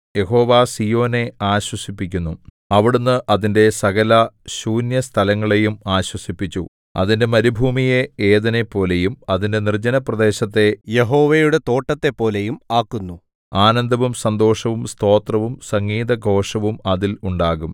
യഹോവ സീയോനെ ആശ്വസിപ്പിക്കുന്നു അവിടുന്ന് അതിന്റെ സകലശൂന്യസ്ഥലങ്ങളെയും ആശ്വസിപ്പിച്ചു അതിന്റെ മരുഭൂമിയെ ഏദെനെപ്പോലെയും അതിന്റെ നിർജ്ജനപ്രദേശത്തെ യഹോവയുടെ തോട്ടത്തെപ്പോലെയും ആക്കുന്നു ആനന്ദവും സന്തോഷവും സ്തോത്രവും സംഗീതഘോഷവും അതിൽ ഉണ്ടാകും